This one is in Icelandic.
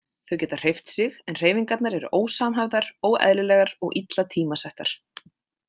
Þau geta hreyft sig en hreyfingarnar eru ósamhæfðar, óeðlilegar og illa tímasettar.